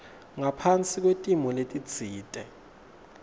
ngaphasi kwetimo letitsite